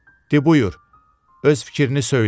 "De, buyur, öz fikrini söylə.